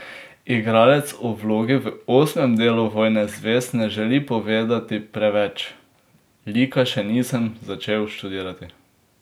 Igralec o vlogi v osmem delu Vojne zvezd ne želi povedati preveč: "Lika še nisem začel študirati.